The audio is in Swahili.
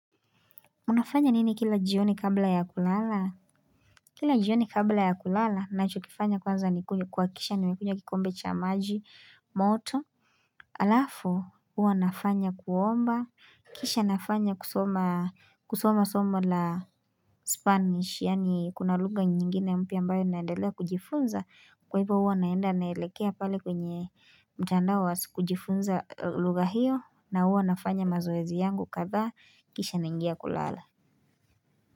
Unafanya nini kila jioni kabla ya kulala? Kila jioni kabla ya kulala nacho kifanya kwanza nikunywe kuhakikisha nimekunywa kikombe cha maji moto Alafu huwa nafanya kuomba kisha nafanya kusoma kusoma somo la spanish yani kuna lugha nyingine mpya ambayo naendelea kujifunza kwa hivyo huwa naenda naelekea pale kwenye mtandao kujifunza lugha hiyo na huwa nafanya mazoezi yangu kadhaa kisha naingia kulala.